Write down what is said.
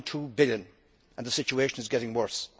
8.2 billion, and the situation is getting worse.